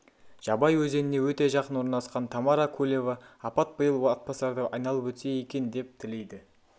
жабай өзеніне өте жақын орналасқан тамара кулева апат биыл атбасарды айналып өтсе екен деп тілейді